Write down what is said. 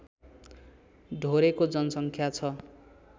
ढोरेको जनसङख्या छ